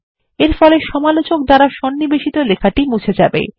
এরফলে সমালোচক দ্বারা সন্নিবেশিত লেখাটি মুছে যাবে